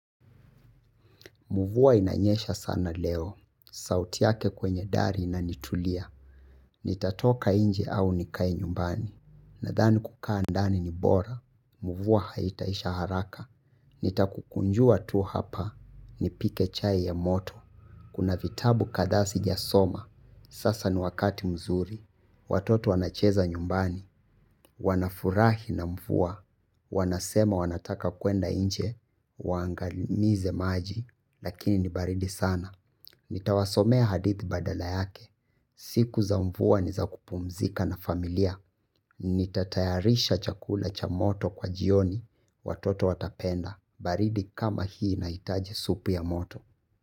Mvua inanyesha sana leo. Sauti yake kwenye dari inanitulia. Nitatoka nje au nikae nyumbani. Nadhani kukaa ndani ni bora. Mvua haitaisha haraka. Nitakukunjua tu hapa. Nipike chai ya moto. Kuna vitabu kadhaa sijasoma, sasa ni wakati mzuri, watoto wanacheza nyumbani, wanafurahi na mvua, wanasema wanataka kuenda nje, waangamize maji, lakini ni baridi sana. Nitawasomea hadithi badala yake, siku za mvuaa ni za kupumzika na familia, nitatayarisha chakula cha moto kwa jioni, watoto watapenda, baridi kama hii inahitaji supu ya moto.